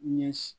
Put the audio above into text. Ɲɛsi